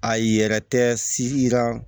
A yɛrɛ tɛ siran